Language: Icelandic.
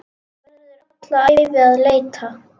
Verður alla ævi að leita.